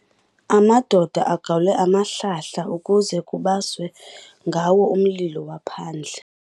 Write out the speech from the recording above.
Amadoda agawule amahlahla ukuze kubaswe ngawo umlilo waphandle.